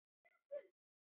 Hún er lokuð og læst.